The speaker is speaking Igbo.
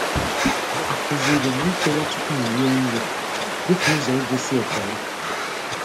A kụziri m ichere tụpụ m rie nri dịka ụzọ igosi ekele.